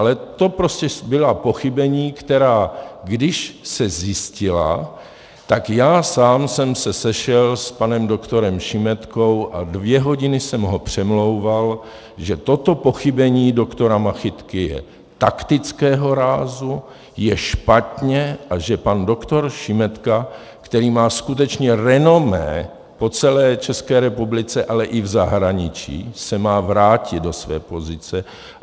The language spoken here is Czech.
Ale to prostě byla pochybení, která, když se zjistila, tak já sám jsem se sešel s panem doktorem Šimetkou a dvě hodiny jsem ho přemlouval, že toto pochybení doktora Machytky je taktického rázu, je špatně a že pan doktor Šimetka, který má skutečně renomé po celé České republice, ale i v zahraničí, se má vrátit do své pozice.